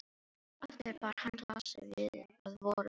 Aftur bar hann glasið að vörum sér.